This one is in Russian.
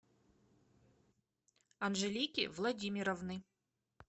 анжелики владимировны